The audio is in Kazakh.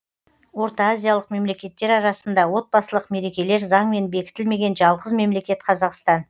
ортаазиялық мемлекеттер арасында отбасылық мерекелер заңмен бекітілмеген жалғыз мемлекет қазақстан